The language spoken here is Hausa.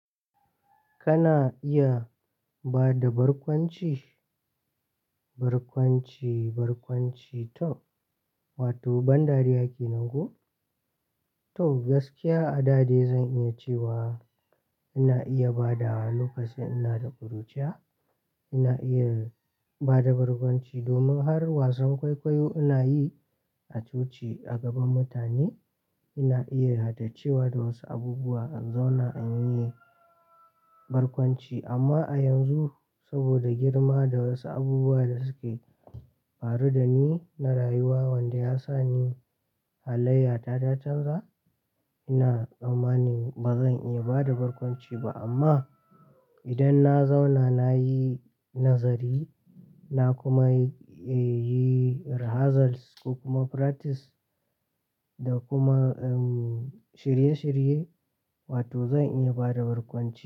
Kana iya bada barkwanci, barkwanci, barkwanci to, wato ban dariya kenan ko? To gaskiya a da dai zan iya cewa ina iya badawa lokacin ina da ƙuruciya. Ina iya bada barkwanci domin har wasan kwaikwayo ina yi a coci a gaban mutane. Ina iya haddace wa da wasu abubuwa in zauna in yi barkwanci. Amma a yanzu saboda girma da wasu abubuwa da suke faru da ni na rayuwa wanda ya sa ni halayya ta ta chanza, ina tsammani bazan iya bada barkwanci ba amma idan na zauna na yi nazari, na kuma, eh, yi rehearsals ko kuma practice da kuma, um, shirye shirye, wato zan iya bada barkwanci.